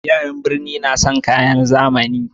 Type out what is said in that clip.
Yaran burni na son kayan zamani